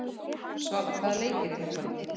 Svala, hvaða leikir eru í kvöld?